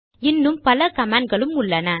இன்னும் பல கமாண்ட் களும் உள்ளன